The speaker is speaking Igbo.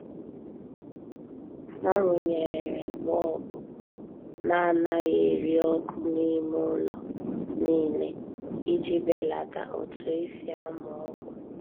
Ha runyere bọọbụ na anaghị eri ọkụ n'ime ụlọ niile iji belata otu esi amụ ọkụ.